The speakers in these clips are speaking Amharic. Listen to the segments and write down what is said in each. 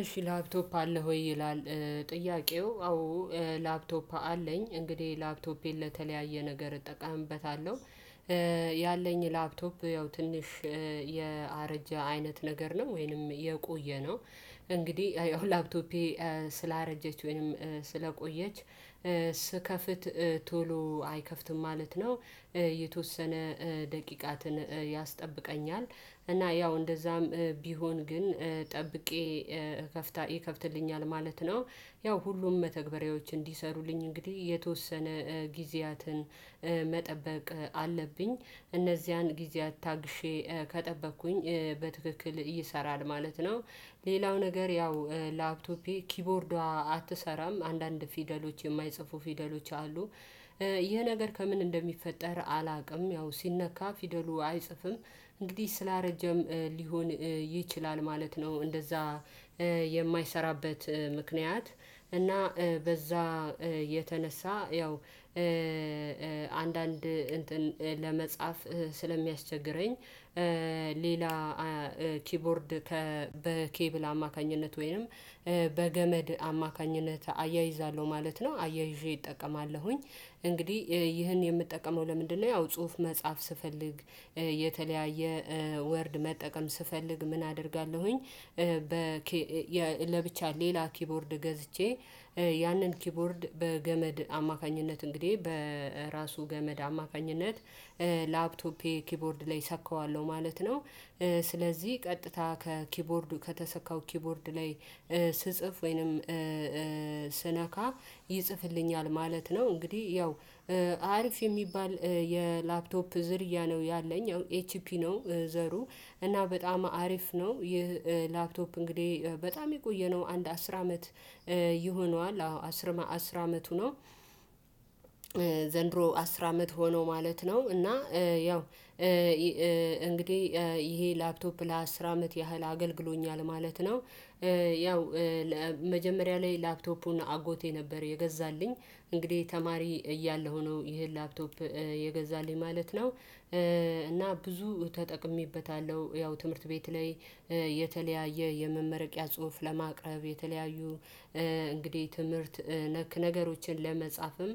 እሺ ላፕቶፕ አለ ወይ ይላል? ጥያቄው አዎ ላፕቶፕ አለኝ እንግዲህ ላፕቶፔን ለተለያየ ነገር እጠቀምበታለሁ። ያለኝ ላፕቶፕ ያው ትንሽ የአረጀ አይነት ነገር ነው ወይንም የቆየው ነው እንግዲህ ላፕቶፔ ስላረጀች ወይንም ስለቆየች ስከፍት ቶሎ አይከፍትም ማለት ነው። የተወሰነ ደቂቃትን ያስጠብቀኛል እና ያው እንደዛም ቢሆን ግን ጠብቄ ከፍታ ይከፍትልኛል ማለት ነው። ያው ሁሉም መተግበሪያዎች እንዲሰሩልኝ እንግዲህ የተወሰነ ጊዜያትን መጠበቅ አለብኝ እነዚያን ጊዜያት ታግሼ ከጠበቅኩኝ በትክክል እየሰራን ማለት ነው። ሌላው ነገር ያው ላፕቶፔ ኪቦርዷ አትሰራም አንዳንድ ፊደሎች የማይጽፉ ፊደሎች አሉ። ይህ ነገር ከምን እንደሚፈጠር አላውቅም። ያው ሲነካ ፊደሉ አይጽፍም እንግዲህ ስላረጀም ሊሆን ይችላል ማለት ነው። እንደዛ የማይሰራበት ምክንያት እና በዛ የተነሳ ያው አንዳንድ ለመጻፍ ስለሚያስቸግረኝ። ሌላ ኪቦርድ በኬብል አማካኝነት ወይንም በገመድ አማካኝነት አያይዛለሁ ማለት ነው አያይዤ እጠቀማለሁኝ። እንግዲህ ይህን የምጠቀመው ለምንድነው? ያው ጽሁፍ መጻፍ ስፈልግ የተለያየ ወርድ መጠቀም ስፈልግ ምን አደርጋለሁኝ? በ ለብቻ ሌላ ኪቦርድ ገዝቼ ያንን ኪቦርድ በገመድ አማካኝነት እንግዲህ በራሱ ገመድ አማካኝነት ላፕቶፔ ኪቦርድ ላይ እሰካዋለሁ ማለት ነው። ስለዚህ ቀጥታ ከኪቦርዱ ከተሰካው ኪቦርድ ላይ ስጽፍ ወይንም ስነካ ይጽፍልኛል ማለት ነው። እንግዲህ ያው አሪፍ የሚባል የላፕቶፕ ዝርያ ነው ያለኝ ያው ኤች ፒ ነው ዘሩ እና በጣም አሪፍ ነው። ይህ ላፕቶፕ እንግዲህ በጣም የቆየነው አንድ አስር አመት ይሆነዋል አስር አስር አመቱ ነው። ዘንድሮ አስር አመት ሆኖ ማለት ነው እና ያው እንግዲህ ይሄ ላፕቶፕ ለአስር አመት ያህል አገልግሎኛል ማለት ነው። ያው መጀመሪያ ላይ ላክቶፑን አጎቴ ነበር የገዛልኝ እንግዲህ ተማሪ እያለሁ ነው ይሄን ላፕቶፕ የገዛልኝ ማለት ነው። እና ብዙ ተጠቅሜበታለሁ ያው ትምህርት ቤት ላይ የተለያየ የመመረቂያ ጽሁፍ ለማቅረብ የተለያዩ እንግዲህ ትምህርት ነክ ነገሮችን ለመጻፍም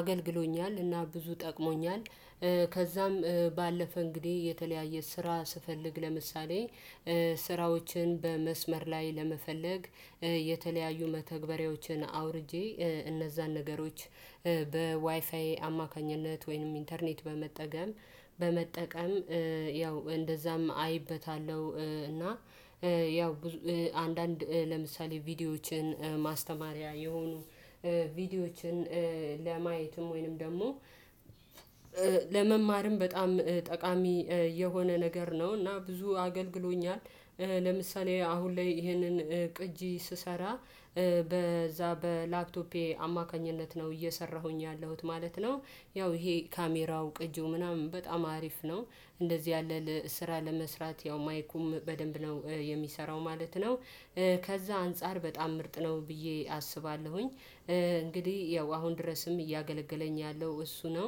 አገልግሎኛል እና ጠቅሞኛል። ከዛም ባለፈ እንግዲህ የተለያየ ስራ ስፈልግ ለምሳሌ ስራዎችን በመስመር ላይ ለመፈለግ የተለያዩ መተግበሪያዎችን አውርጄ እነዛን ነገሮች በዋይፋይ አማካኝነት ወይንም ኢንተርኔት በመጠቀም። ያው እንደዛም አይበታለሁ እና ያው አንዳንድ ለምሳሌ ቪዲዮዎችን ማስተማሪያ የሆኑ ቪዲዮዎችን ለማየትም ወይንም ደግሞ ለመማርም በጣም ጠቃሚ የሆነ ነገር ነው። እና ብዙ አገልግሎኛል ለምሳሌ አሁን ላይ ይህንን ቅጂ ስሰራ በዛ በላክቶፔ አማካኝነት ነው እየሰራሁኝ ያለሁት ማለት ነው። ያው ይሄ ካሜራው ቅጂው ምናምን በጣም አሪፍ ነው። እንደዚህ ያለ ስራ ለመስራት ያው ማይኩም በደንብ ነው የሚሰራው ማለት ነው። ከዛ አንፃር በጣም ምርጥ ነው ብዬ አስባለሁኝ። እንግዲህ ያው አሁን ድረስም እያገለገለኝ ያለው እሱ ነው።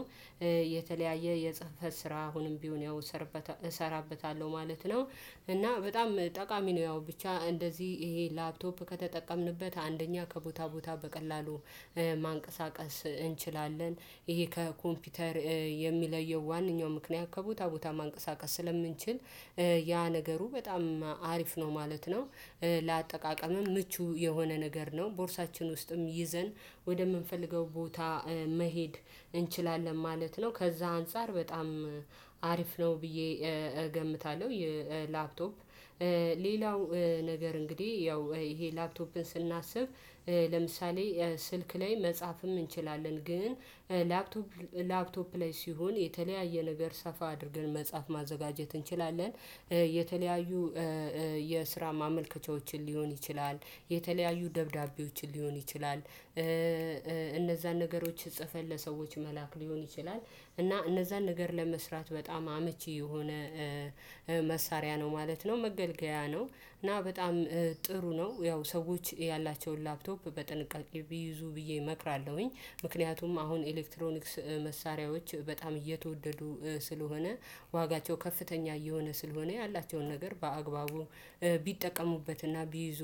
የተለያየ የጽህፈት ስራ አሁንም ቢሆን ያው እሰራበታለሁ ማለት ነው። እና በጣም ጠቃሚ ነው ያው ብቻ እንደዚህ ይሄ ላፕቶፕ ከተጠቀምንበት አንደኛ ከቦታ ቦታ በቀላሉ ማንቀሳቀስ እንችላለን። ይሄ ከኮምፒውተር የሚለየው ዋናው ምክንያት ከቦታ ቦታ ማንቀሳቀስ ስለምንችል ያ ነገሩ በጣም አሪፍ ነው ማለት ነው። ለአጠቃቀምም ምቹ የሆነ ነገር ነው ቦርሳችን ውስጥም ይዘን ወደምንፈልገው ቦታ መሄድ እንችላለን ማለት ነው። ከዛ አንፃር በጣም አሪፍ ነው ብዬ እገምታለሁ። የላፕቶፕ ሌላው ነገር እንግዲህ ያው ይሄ ላፕቶፕን ስናስብ ለምሳሌ ስልክ ላይ መጻፍም እንችላለን። ግን ላፕቶፕ ላይ ሲሆን የተለያየ ነገር ሰፋ አድርገን መጻፍ ማዘጋጀት እንችላለን። የተለያዩ የስራ ማመልከቻዎችን ሊሆን ይችላል የተለያዩ ደብዳቤዎችን ሊሆን ይችላል። እነዛን ነገሮች ጽፈን ለሰዎች መላክ ሊሆን ይችላል። እና እነዛን ነገር ለመስራት በጣም አመቺ የሆነ መሳሪያ ነው ማለት ነው መገልገያ ነው። እና በጣም ጥሩ ነው ያው ሰዎች ያላቸውን ላፕቶፕ በጥንቃቄ ቢይዙ ብዬ እመክራለሁኝ። ምክንያቱም አሁን ኤሌክትሮኒክስ መሳሪያዎች በጣም እየተወደዱ ስለሆነ ዋጋቸው ከፍተኛ እየሆነ ስለሆነ ያላቸውን ነገር በአግባቡ ቢጠቀሙበትና ቢይዙ